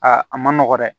Aa a ma nɔgɔ dɛ